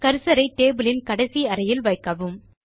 cursor ஐ table யின் கடைசி அறையில் வைக்கவும்